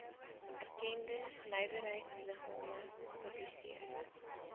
erkende nywerheidsliggame publiseer